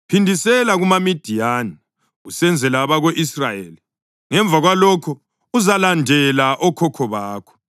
“Phindisela kumaMidiyani usenzela abako-Israyeli. Ngemva kwalokho, uzalandela okhokho bakho.”